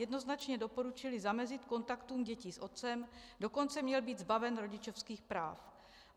Jednoznačně doporučili zamezit kontaktům dětí s otcem, dokonce měl být zbaven rodičovských práv.